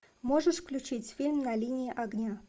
можешь включить фильм на линии огня